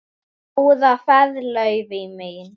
Góða ferð, Laufey mín.